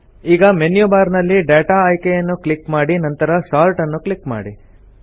ಈಗ menu bar ನಲ್ಲಿ data ಆಯ್ಕೆಯನ್ನು ಕ್ಲಿಕ್ ಮಾಡಿ ನಂತರ ಸೋರ್ಟ್ ನ್ನು ಕ್ಲಿಕ್ ಮಾಡಿ